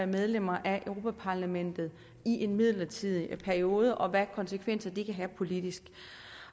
medlemmer af europa parlamentet i en midlertidig periode og hvilke konsekvenser det kan have politisk